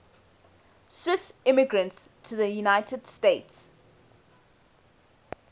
swiss immigrants to the united states